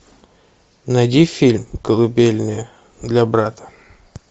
найди фильм колыбельная для брата